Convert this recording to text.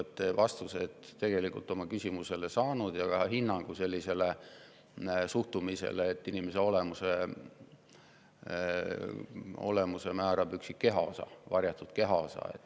Te olete tegelikult vastuse oma küsimusele saanud ja ka hinnangu sellisele suhtumisele, et inimese olemuse määrab üksik kehaosa, varjatud kehaosa.